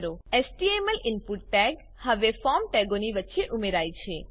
HTML input tag હવે form ટેગોની વચ્ચે ઉમેરાય છે